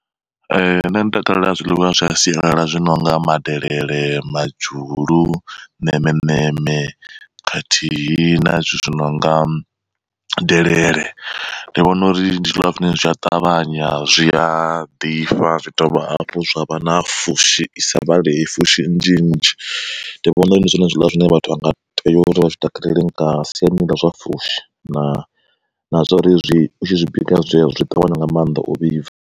Nṋe ndi takalela zwiḽiwa zwa sialala zwi nonga madelele, madzhulu, ṋemeṋeme khathihi na zwithu zwi nonga delele, ndi vhona uri ndi zwiḽiwani zwine zwia ṱavhanya zwia ḓifha zwi dovha hafhu zwa vha na fushi isa vhalei, fushi nnzhi nnzhi. Ndi vhona uri ndi zwone zwiḽiwa zwine vhathu vha nga tea uri vha zwi takaleli nga siani ḽa zwa fushi na na zwa uri utshi zwi bika zwi ṱavhanya nga mannḓa u vhibva.